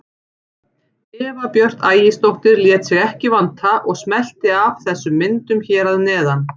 Eva Björk Ægisdóttir lét sig ekki vanta og smellti af þessum myndum hér að neðan.